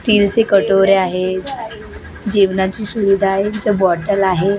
स्टीलचे कटोऱ्या आहे जेवणाची सुविधा आहे इथं बॉटल आहे.